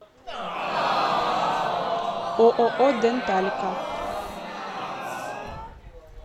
ооо денталика